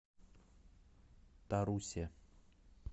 тарусе